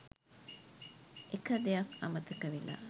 එක දෙයක් අමතක වෙලා